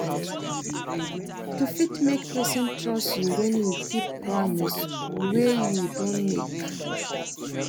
To fit make person trust you when you keep promise wey you don make